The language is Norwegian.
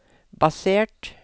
basert